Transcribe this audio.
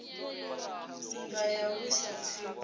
nndwa ya u lwisa tsiku